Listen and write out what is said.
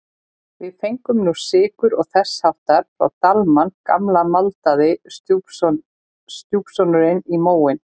Við fengum nú sykur og þess háttar frá Dalmann gamla maldaði stjúpsonurinn í móinn.